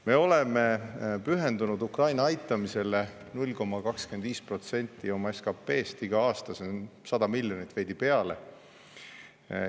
Me oleme pühendunud Ukraina aitamisele, 0,25% meie SKT-st igal aastal, see on 100 miljonit ja veidi peale.